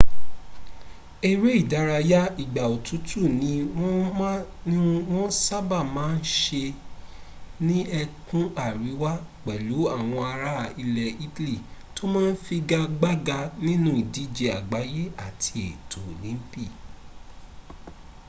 èré ìdárayá ìgbà òtútù ní wọ́n sábàá ma ń se ní ẹkùn àríwá pẹ̀lú àwọn ará ilẹ̀ italy tó ma ń figagbága nínú ìdíje àgbáyé àti ètò olympi